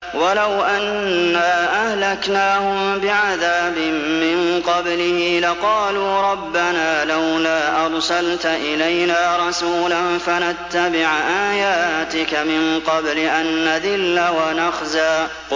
وَلَوْ أَنَّا أَهْلَكْنَاهُم بِعَذَابٍ مِّن قَبْلِهِ لَقَالُوا رَبَّنَا لَوْلَا أَرْسَلْتَ إِلَيْنَا رَسُولًا فَنَتَّبِعَ آيَاتِكَ مِن قَبْلِ أَن نَّذِلَّ وَنَخْزَىٰ